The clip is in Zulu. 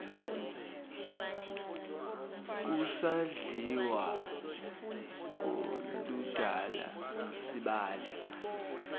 kusadliwa ngoludala sibale